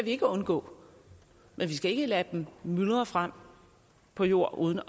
ikke undgå men vi skal ikke lade dem myldre frem på jord uden